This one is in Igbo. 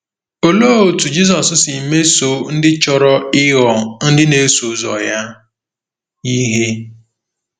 Olee otú Jizọs si mesoo ndị chọrọ ịghọ ndị na-eso ụzọ ya ihe?